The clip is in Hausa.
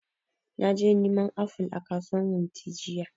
Naje neman aful a kasuwan wunti jiya